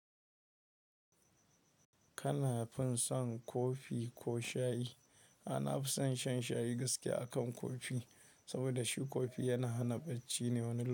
Kana fin son kofi ko shayi? Ai na fi son shan shayi gaskiya akan kofi, saboda shi kofi yana hana bacci ne wani lokaci.